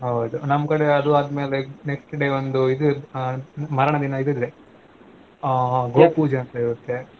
ಹೌದು ನಮ್ ಕಡೆ ಅದು ಅದ್ಮೇಲೆ next day ಒಂದು ಇದು ಅ ಮಾರನೇ ದಿನಾ ಇದು ಇರ್ತದೆ ಹಾ ಗೋ ಪೂಜೆ ಅಂತಿರುತ್ತೆ.